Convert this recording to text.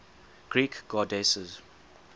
greek goddesses